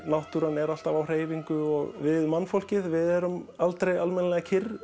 náttúran er alltaf á hreyfingu og aldrei við mannfólkið erum aldrei alveg kyrr